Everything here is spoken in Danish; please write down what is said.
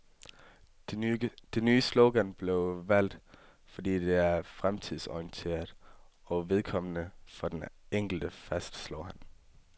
Det nye slogan blev valgt, fordi det er fremtidsorienteret og vedkommende for den enkelte, fastslår han.